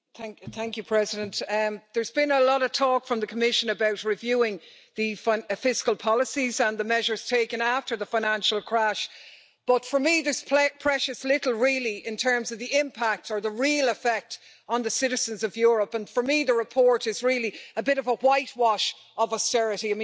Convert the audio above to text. Madam President, there's been a lot of talk from the Commission about reviewing the fiscal policies and the measures taken after the financial crash, but for me there's precious little really in terms of the impact or the real effect on the citizens of Europe, and for me, the report is really a bit of a whitewash of austerity.